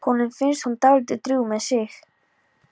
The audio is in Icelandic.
Honum finnst hún dálítið drjúg með sig.